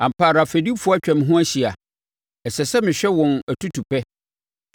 Ampa ara fɛdifoɔ atwa me ho ahyia; ɛsɛ sɛ mehwɛ wɔn atutupɛ.